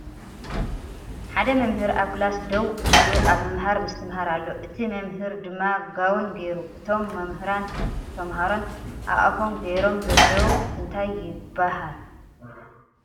ሓደ መምህር ኣብ ክላስ ደው ኢሉ ኣብ ምምሃር ምስትምሃር ኣሎ ። እቲ መምህ ድማ ጋውን ገይሩ ። እቶም መምህራንን ተምሃሮን ኣብ ኣፎም ገይሮም ዘለዉ እንታይ ይባሃል ።